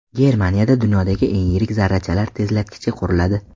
Germaniyada dunyodagi eng yirik zarrachalar tezlatkichi quriladi.